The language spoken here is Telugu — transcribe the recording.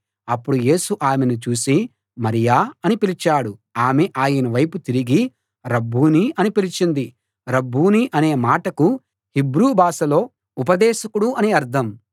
అప్పుడు యేసు ఆమెను చూసి మరియా అని పిలిచాడు ఆమె ఆయన వైపుకు తిరిగి రబ్బూనీ అని పిలిచింది రబ్బూనీ అనే మాటకు హీబ్రూ భాషలో ఉపదేశకుడు అని అర్థం